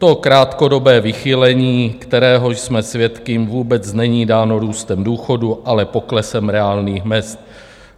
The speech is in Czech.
To krátkodobé vychýlení, kterého jsme svědky, vůbec není dáno růstem důchodů, ale poklesem reálných mezd.